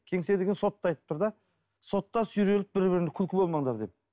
кеңсе деген сотты айтып тұр да сотта бір біріңді күлкі болмаңдар деп